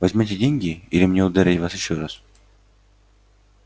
возьмёте деньги или мне ударить вас ещё раз